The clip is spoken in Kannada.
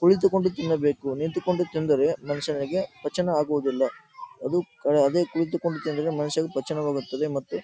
ಕುಳಿತುಕೊಂಡು ತಿನ್ನಬೇಕು ನಿಂತುಕೊಂಡು ತಿಂದರೆ ಮನುಷ್ಯನಿಗೆ ಪಚನವಾಗುವುದಿಲ್ಲ ಅದೇ ಕುಳಿತುಕೊಂಡು ತಿಂದರೆ ಮನುಷ್ಯನಿಗೆ ಪಚನವಾಗುತ್ತದೆ ಮತ್ತು --